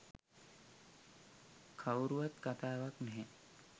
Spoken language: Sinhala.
කවුරුවත් කතාවක් නැහැ